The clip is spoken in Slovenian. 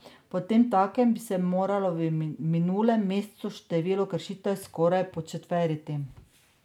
Potemtakem bi se moralo v minulem mesecu število kršitev skoraj početveriti.